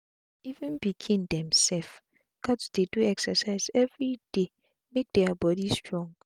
even pikin dem sef gats dey do exercise everi time make dia bodi strong